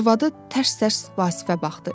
Arvadı tərs-tərs Vasifə baxdı.